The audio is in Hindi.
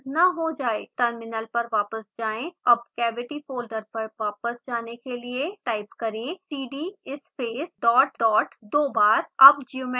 टर्मिनल पर वापस जाएँ अब cavity फोल्डर पर वापस जाने के लिए टाइप करें cd space dot dot दो बार अब ज्योमेट्री को मैश करते हैं